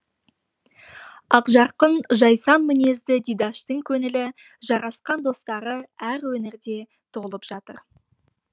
ақжарқын жайсаң мінезді дидаштың көңілі жарасқан достары әр өңірде толып жатыр